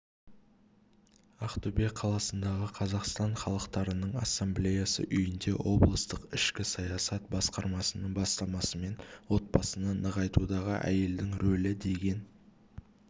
ақтөбе қаласындағы қазақстан халықтарының ассамблеясы үйінде облыстық ішкі саясат басқармасының бастамасымен отбасыны нығайтудағы әйелдің рөлі деген